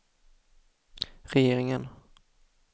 regeringen